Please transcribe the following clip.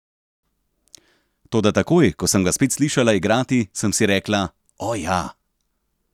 Toda takoj, ko sem ga spet slišala igrati, sem si rekla: 'O, ja.